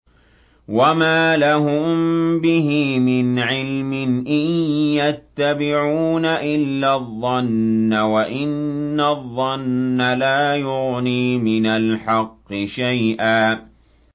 وَمَا لَهُم بِهِ مِنْ عِلْمٍ ۖ إِن يَتَّبِعُونَ إِلَّا الظَّنَّ ۖ وَإِنَّ الظَّنَّ لَا يُغْنِي مِنَ الْحَقِّ شَيْئًا